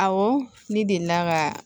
Awɔ ne delila ka